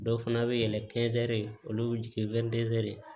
Dɔw fana bɛ yɛlɛn kɛnzi olu bɛ jigin